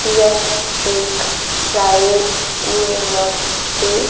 यह एक private university --